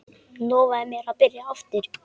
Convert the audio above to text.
Lofaðu mér að byrja aftur!